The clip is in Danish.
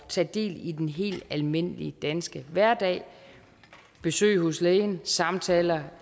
tage del i den helt almindelige danske hverdag besøg hos lægen samtaler